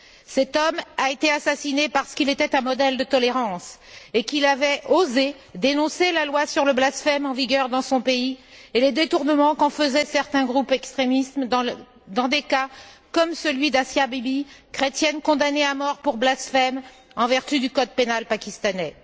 Cet homme a été assassiné parce qu'il était un modèle de tolérance et qu'il avait osé dénoncer la loi sur le blasphème en vigueur dans son pays et les détournements qu'en faisaient certains groupes extrémistes dans des cas comme celui d'Asia Bibi, chrétienne condamnée à mort pour blasphème en vertu du code pénal pakistanais.